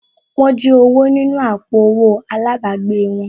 Wọ́n jí owó nínú àpò owó àlábàgbèè wọn